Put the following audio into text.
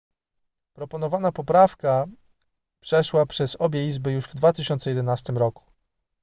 proponowana poprawka przeszła przez obie izby już w 2011 roku